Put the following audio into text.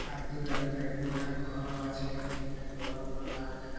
এক দুটা ঘরও আছে একদম অনেক বড়ো বড়ো গাছ দেখা--